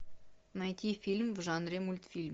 найти фильм в жанре мультфильм